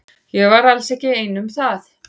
Ég var alls ekki ein um það.